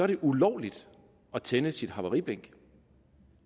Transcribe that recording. det ulovligt at tænde sit havariblink